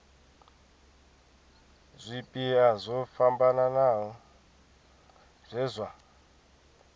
zwipia zwo fhambanaho zwe zwa